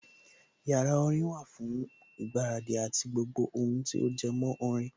Yàrá orin wà fún ìgbáradì àti gbogbo ohun tí ó jẹmọ́ orin